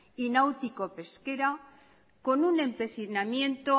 y náutico pesquera con un empecimiento